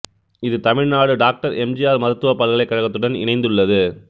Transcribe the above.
இது Tamil Nadu doctor M G R மருத்துவப் பல்கலைக்கழகத்துடன் இணைந்துள்ளது